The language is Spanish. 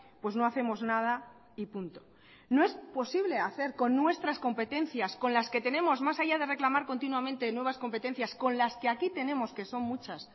pues no hacemos nada y punto no es posible hacer con nuestras competencias con las que tenemos más allá de reclamar continuamente nuevas competencias con las que aquí tenemos que son muchas